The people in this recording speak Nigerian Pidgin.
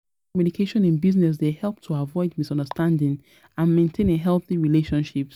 Clear communication in business dey help to avoid misunderstanding and maintain a healthy relationships.